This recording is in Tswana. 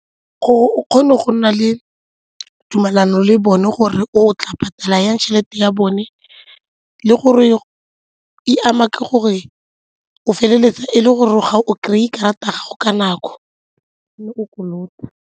Gore o kgone go nna le tumalano le bone gore o tla patala jang tšhelete ya bone le gore e ama ka gore o feleletsa e le gore ga o kry-e karata ya gago ka nako mme o kolota.